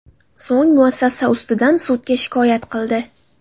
So‘ng muassasa ustidan sudga shikoyat qildi.